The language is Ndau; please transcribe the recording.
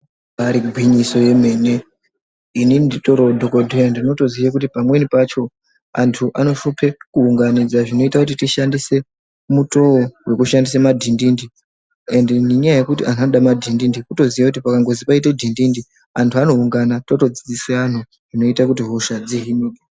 Ibari gwinyiso yemene inini nditoriwo dhokodheya ndinotiziye kuti pamweni pacho antu anohlupe kuunganidza zvinoite kuti tishandise mutoo wekushandise madhindindi ende ngenyaya yekuti antu anode madhindindi kutoziya kuti pakangizwi paite madhindindi antu anoungana totodzidzisa zvinoita kuti hosha dzihinwe.